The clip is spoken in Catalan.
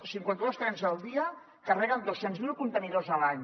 cinquanta dos trens al dia carreguen dos cents miler contenidors a l’any